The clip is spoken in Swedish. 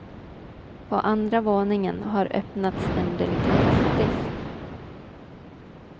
På andra våningen har öppnats en delikatessdisk.